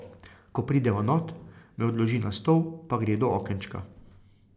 Ko prideva not, me odloži na stol pa gre do okenčka.